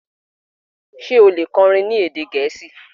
ṣe o le kọrin ní èdè Gẹẹsi?